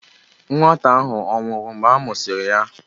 Nwata ahụ ọ̀ nwụrụ mgbe a mụsịrị ya?